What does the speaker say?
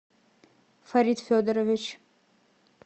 фарид федорович